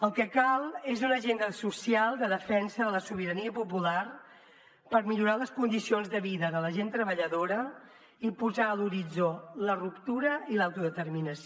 el que cal és una agenda social de defensa de la sobirania popular per millorar les condicions de vida de la gent treballadora i posar a l’horitzó la ruptura i l’autodeterminació